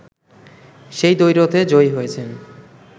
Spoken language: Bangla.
সেই দ্বৈরথে জয়ী হয়েছেন